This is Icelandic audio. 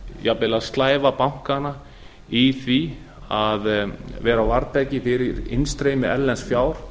jafnvel að slæva bankana í því að vera á varðbergi fyrir innstreymi erlends fjár